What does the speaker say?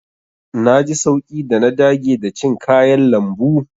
Na ji sauƙi da na dage da cin kayan lambu.